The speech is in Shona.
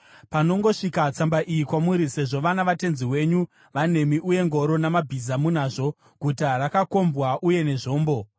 “Panongosvika tsamba iyi kwamuri, sezvo vana vatenzi wenyu vanemi uye ngoro namabhiza munazvo, guta rakakombwa uye nezvombo,